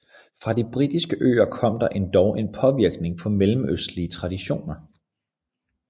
Fra de britiske øer kom der endog en påvirkning fra mellemøstlige traditioner